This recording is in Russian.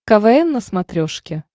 квн на смотрешке